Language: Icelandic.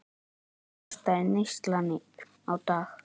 Hvað kostaði neyslan á dag?